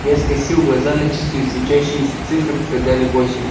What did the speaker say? я скосил глаза на часы светящиеся цифры показали восемь